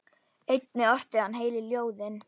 Einnig orti hann heilu ljóðin.